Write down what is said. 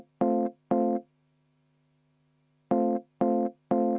Jah, täpselt.